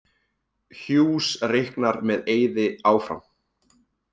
Hughes reiknar með Eiði áfram